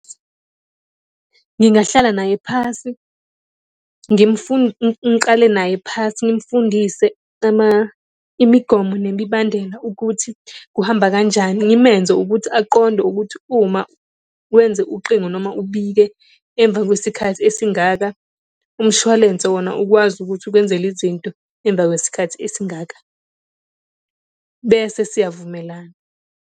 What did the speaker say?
Ngingahlala naye phasi, ngiqale naye phasi ngimfundise , imigomo nemibandela ukuthi kuhamba kanjani ngimenze ukuthi aqonde ukuthi uma wenze uqingo noma ubike emva kwesikhathi esingaka umshwalense wona ukwazi ukuthi ukwenzele izinto emva kwesikhathi esingaka. Bese siyavumelana.